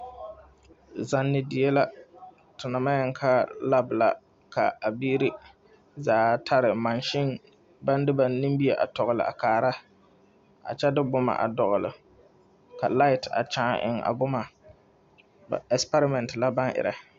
Zani die la te naŋ maŋ yeli ka lap la ka a biiri zaa tarɛɛ maŋsin baŋ de ba nimie tɔgli a kaara kyɛ de boma a dɔgli ka lai kyaane eŋ a boma ɛgsipɛrɛmɛn la baŋ erɛ.